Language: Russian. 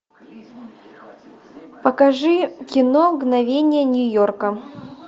покажи кино мгновения нью йорка